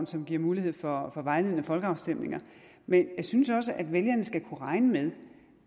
som giver mulighed for vejledende folkeafstemninger men jeg synes også at vælgerne skal kunne regne med